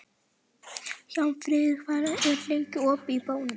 Hjálmfríður, hvað er lengi opið í Bónus?